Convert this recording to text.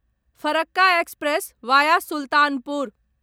Farakka express via Sultanpur